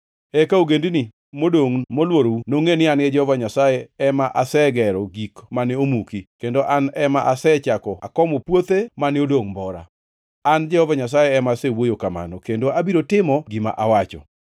Eka ogendini modongʼ molworou nongʼe ni an Jehova Nyasaye ema asegero gik mane omuki, kendo an ema asechako akomo puothe mane odongʼ mbora. An Jehova Nyasaye ema asewuoyo kamano, kendo abiro timo gima awacho.’